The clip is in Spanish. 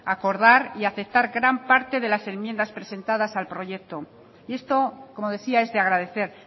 acordar y aceptar gran parte de las enmiendas presentadas al proyecto y esto como decía es de agradecer